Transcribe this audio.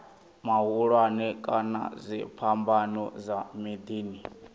mahulwane kana dziphambano dza miḓini